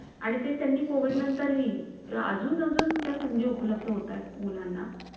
आणि ते त्यांनी कोविड नंतरही अजून त्या संधी उपलब्ध होतात मुलांना .